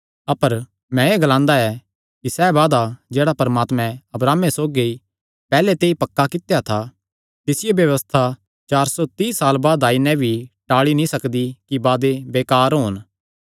अपर मैं एह़ ग्लांदा ऐ कि सैह़ वादा जेह्ड़ा परमात्मैं अब्राहमे सौगी पैहल्ले ते ई पक्का कित्या था तिसियो व्यबस्था चार सौ तीई साल बाद भी आई नैं नीं टाल़ी सकदी कि वादे बेकार होन